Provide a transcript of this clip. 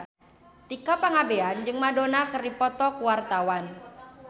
Tika Pangabean jeung Madonna keur dipoto ku wartawan